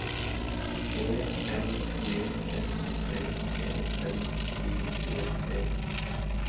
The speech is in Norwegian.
E N G S T E L I G E